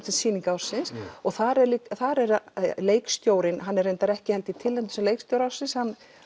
sem sýning ársins og þar er þar er það leikstjórinn hann er ekki tilnefndur sem leikstjóri ársins